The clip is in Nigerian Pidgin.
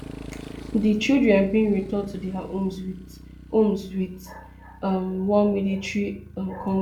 di children bin return to dia homes wit homes wit um one military um convoy